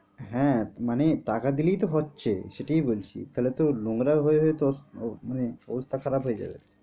হ্যাঁ মানে টাকা দিলেই তো হচ্ছে সেটাই বলছি তাহলে নোংরা হয়ে হয়ে তো মানে অবস্থা খারাপ হয়ে যাবে।